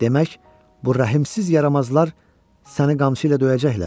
Demək, bu rəhimsiz yaramazlar səni qamçı ilə döyəcəklər?